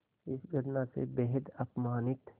इस घटना से बेहद अपमानित